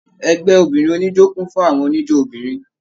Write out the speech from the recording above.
Ẹgbẹ obìnrin oníjó kún fún àwọn oníjó obìnrin.